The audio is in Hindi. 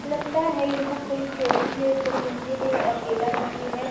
लगता है यह कोई चोटी है। उपर मंदिर है। अकेला मंदिर है।